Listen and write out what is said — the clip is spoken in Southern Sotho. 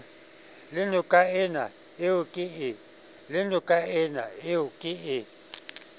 le nokaena eo ke e